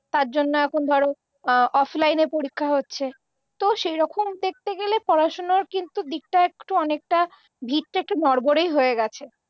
তার জন্য এখন ধরো অফলাইনে পরীক্ষা হচ্ছে। তো সেরকম দেখতে গেলে পড়াশুনার কিন্তু দিকটা একটু অনেকটা ভিতটা একটু নড়বড়েই হয়ে গেছে।